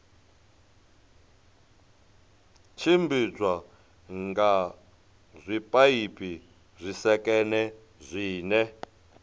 tshimbidzwa nga zwipaipi zwisekene zwine